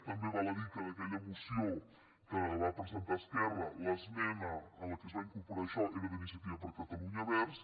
també val a dir que en aquella moció que va presentar esquerra l’esme·na amb què es va incorporar això era d’iniciativa per catalunya verds